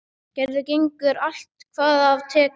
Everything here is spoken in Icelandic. Gerður gengur allt hvað af tekur.